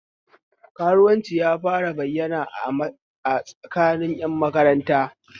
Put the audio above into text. Karuwanci ya fara bayyana a tsakanin ƴan makaranta